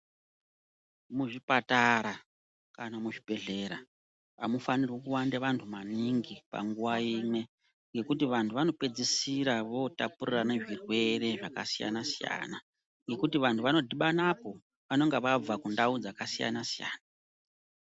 Muzvipatara kana muzvibhedhlera amufanirwi kuwande vantu maningi panguva imwe ngekuti vanhu vanopedzisira votapurirana zvirwere zvakasiyana siyana, ngekuti vanhu vanodhibanapo vanonga vabva kundau dzakasiyana siyana.